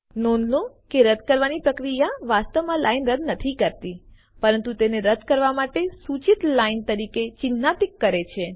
નોંધ લો કે રદ્દ કરવાની પ્રક્રિયા વાસ્તવમાં લાઈન રદ્દ નથી કરતી પરંતુ તેને રદ્દ કરવા માટેની સૂચિત લાઈન તરીકે ચીન્હાન્કિત કરે છે